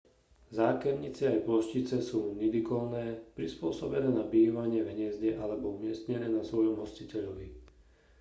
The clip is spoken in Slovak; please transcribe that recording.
zákernice aj ploštice sú nidikolné prispôsobené na bývanie v hniezde alebo umiestnené na svojom hostiteľovi